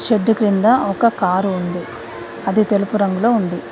చెట్టు కింద ఒక కారు ఉంది అది తెలుపు రంగులో ఉంది.